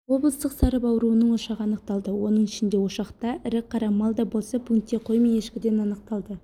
облыстық сарып ауруының ошағы анықталды оның ішінде ошақта ірі-қара малда болса пункте қой мен ешкіден анықталды